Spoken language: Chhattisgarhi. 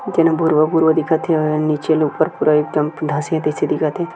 जेन ह भुरवा-भुरवा दिखत हे ओ ह नीचे ले ऊपर पूरा एकदम धसीही तइसे दिखत हे।